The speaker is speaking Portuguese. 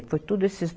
Foi tudo esses